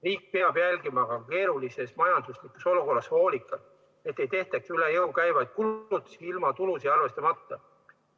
Riik peab jälgima keerulises majanduslikus olukorras hoolikalt, et ei tehtaks üle jõu käivaid kulutusi ilma tulusid arvestamata.